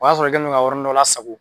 O y'a sɔrɔ kɛlen don ka yɔrɔnin dɔ lasago.